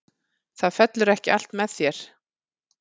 Það fellur ekki allt með þér.